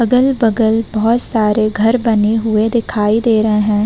अगल बगल बोहोत सारे घर बने हुए दिखाई दे रहे हैं।